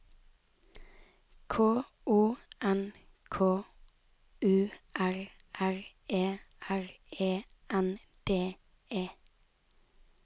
K O N K U R R E R E N D E